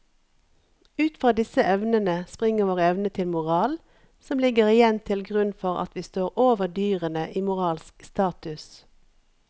Ut fra disse evnene springer vår evne til moral som igjen ligger til grunn for at vi står over dyrene i moralsk status.